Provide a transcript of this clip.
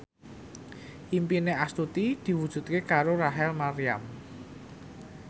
impine Astuti diwujudke karo Rachel Maryam